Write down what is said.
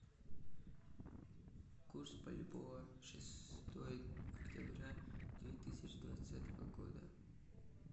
курс бальбоа шестое октября две тысячи двадцатого года